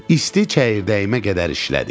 İsti çəyirdəyimə qədər işlədi.